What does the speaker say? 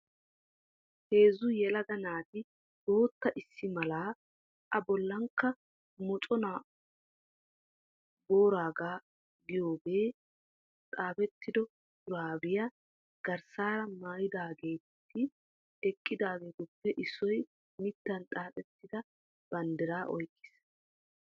Heezzu yelaga naati bootta issi mala A bollankka mochona booraagoo giyaage xaafettido shuraabiya garssaara mayidaageeti eqqidaageetuppe issoy mittan xaaxettida banddiraa oyqqis.